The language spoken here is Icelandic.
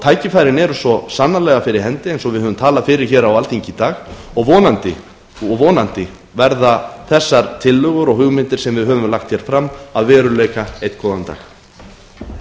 tækifærin eru svo sannarlega fyrir hendi eins og við höfum talað fyrir á alþingi í dag og vonandi verða þessar tillögur og hugmyndir sem við höfum lagt hér fram að veruleika einn góðan dag